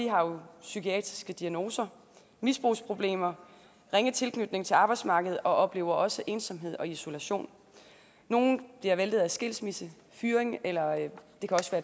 har psykiatriske diagnoser misbrugsproblemer ringe tilknytning til arbejdsmarkedet og oplever også ensomhed og isolation nogle bliver væltet af skilsmisse fyring eller